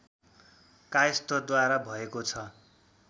कायस्थद्वारा भएको छ